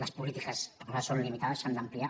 les polítiques a vegades són limitades s’han d’ampliar